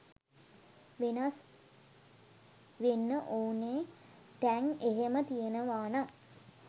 වෙනස් වෙන්න ඕනේ තැන් එහෙම තියනවානම්